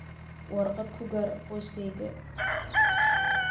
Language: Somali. warqad ku gaar qoyskayga